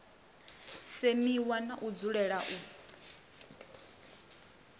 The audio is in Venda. semiwa na u dzulela u